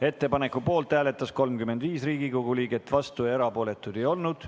Ettepaneku poolt hääletas 35 Riigikogu liiget, vastuolijaid ja erapooletuid ei olnud.